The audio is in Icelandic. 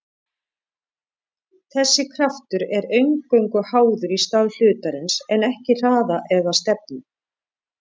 Þessi kraftur er eingöngu háður stað hlutarins en ekki hraða eða stefnu.